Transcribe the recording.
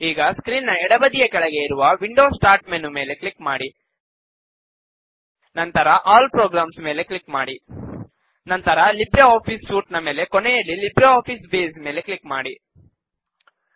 ಈಗ ಸ್ಕ್ರೀನ್ ನ ಎಡಬದಿಯ ಕೆಳಗೆ ಇರುವ ವಿಂಡೋಸ್ ಸ್ಟಾರ್ಟ್ ಮೆನು ಮೇಲೆ ಕ್ಲಿಕ್ ಮಾಡಿ ನಂತರ ಆಲ್ ಪ್ರೊಗ್ರಮ್ಸ್ ಮೇಲೆ ಕ್ಲಿಕ್ ಮಾಡಿ ನಂತರ ಲಿಬ್ರೆ ಆಫೀಸ್ ಸೂಟ್ ಮೇಲೆ ಕೊನೆಯಲ್ಲಿ ಲಿಬ್ರೆ ಆಫೀಸ್ ಬೇಸ್ ಮೇಲೆ ಕ್ಲಿಕ್ ಮಾಡಿ